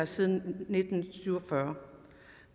siden nitten syv og fyrre